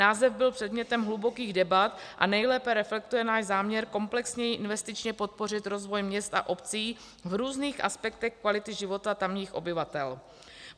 Název byl předmětem hlubokých debat a nejlépe reflektuje náš záměr komplexněji investičně podpořit rozvoj měst a obcí v různých aspektech kvality života tamních obyvatel.